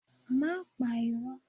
Má pa irọ́!